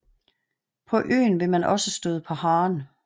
På øen vil man også støde på haren